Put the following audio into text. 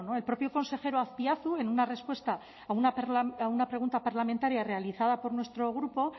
el propio consejero azpiazu en una respuesta a una pregunta parlamentaria realizada por nuestro grupo